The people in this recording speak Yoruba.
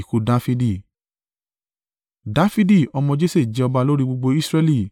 Dafidi ọmọ Jese jẹ́ ọba lórí gbogbo Israẹli.